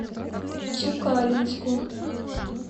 тюкалинску